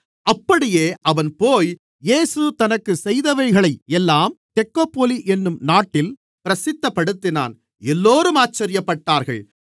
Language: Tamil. அப்படியே அவன்போய் இயேசு தனக்குச் செய்தவைகளை எல்லாம் தெக்கப்போலி என்னும் நாட்டில் பிரசித்தப்படுத்தினான் எல்லோரும் ஆச்சரியப்பட்டார்கள்